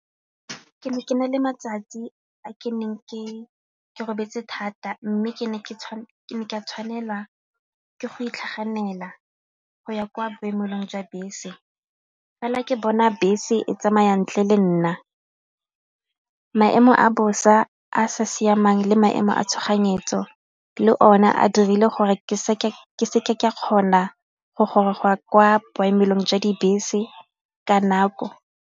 Ke ne ke na le matsatsi a ke neng ke robetse thata mme ke ne ka tshwanela ke go itlhaganela go ya kwa boemelong jwa bese fela ke bona bese e tsamaya ntle le nna. Maemo a bosa a sa siamang le maemo a tshoganyetso le one a dirile gore ke seke ka kgona go goroga go ya kwa boemelong jwa dibese ka nako.